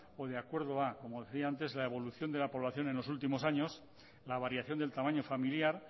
o de acuerdo a como decía antes la evolución de la población en los últimos años la variación del tamaño familiar